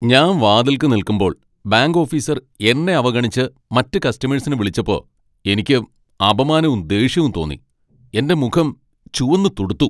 ഞാൻ വാതിൽക്കൽ നിൽക്കുമ്പോൾ ബാങ്ക് ഓഫീസർ എന്നെ അവഗണിച്ച് മറ്റ് കസ്റ്റമേഴ്സിനെ വിളിച്ചപ്പോ എനിക്ക് അപമാനവും ദേഷ്യവും തോന്നി, എന്റെ മുഖം ചുവന്നുതുടുത്തു .